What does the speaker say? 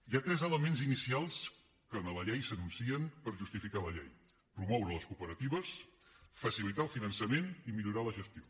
hi ha tres elements inicials que en la llei s’anuncien per justificar la llei promoure les cooperatives facilitar el finançament i millorar la gestió